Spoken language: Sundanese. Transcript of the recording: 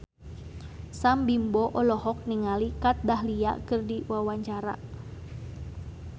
Sam Bimbo olohok ningali Kat Dahlia keur diwawancara